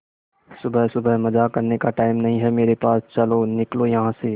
सुबह सुबह मजाक करने का टाइम नहीं है मेरे पास चलो निकलो यहां से